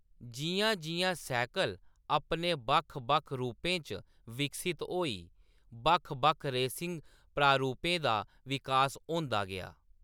जिʼयां-जिʼयां cycle अपने बक्ख-बक्ख रूपें च विकसत होई, बक्ख-बक्ख रेसिंग प्रारूपें दा विकास होंदा गेआ।